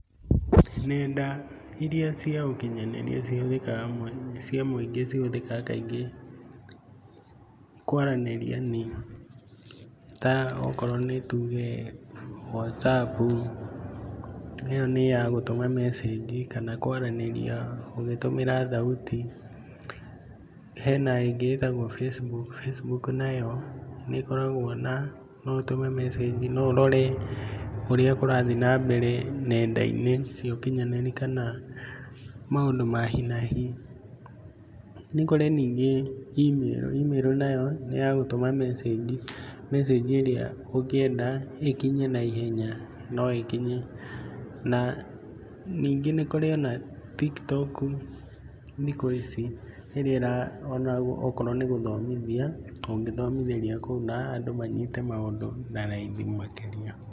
Nenda iria cia ũkinyanĩria cihũthĩkaga cia mũingĩ cihũthĩkaga kaingĩ kwaranĩria nĩ ta okorwo nĩ tuge Whatsapp ĩyo nĩ ya gũtũma message kana kwaranĩria ũgĩtũmĩra thauti. Hena ĩngĩ ĩtagwo Facebook, Facebook nayo nĩ ĩkoragwo na no ũtũme message no ũrore ũrĩa kũrathi na mbere nenda-inĩ cia ũkinyanĩria kana mũndũ ma hi nahi. Nĩ kũrĩ ningĩ Email, Email nayo nĩ ya gũtũma message message ĩrĩa ũngĩenda ĩkinye na ihenya na no ĩkinye. Na ningĩ nĩ kũrĩ ona TikTok thikũ ici ĩrĩa ĩra ona okorwo nĩ gũthomithia ũngĩthomithĩria kũu na andũ manyite maũndũ na raithi makĩria.